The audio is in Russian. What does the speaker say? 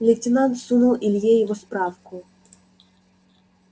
лейтенант сунул илье его справку